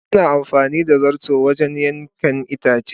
Ana amfani da zarto wajen yankan itace.